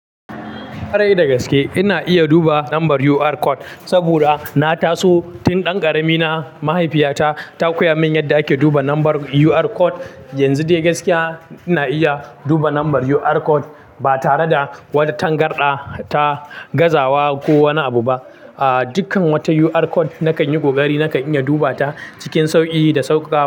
Kwarai da gaske ina iya duba lambar UR code saboda na taso tun dan karami na mahaifiyata ta koya min yadda ake duba lambar UR code. Yanzu dai gaskiya ina iya duba lambar UR code ba tare da tangarɗa ta gazawa ko wani abu ba. Ahhh, dukkan wata UR code nakan yi ƙoƙari nakan iya duba ta cikin sauƙi da sauƙaƙa.